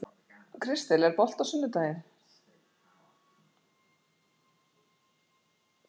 Kristel, er bolti á sunnudaginn?